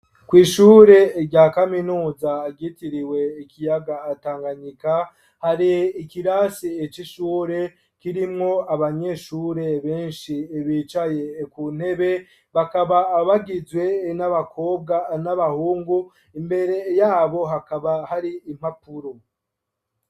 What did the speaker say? Kw'ishure rya kaminuza ryitiriwe ikiyaga Tanganyika, hari ikirasi c'ishure kirimwo abanyeshure benshi bicaye ku ntebe, bakaba abagizwe n'abakobwa, n'abahungu, imbere yabo hakaba hari impapuro.